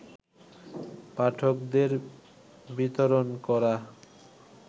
পাঠকদের বিতরণ করা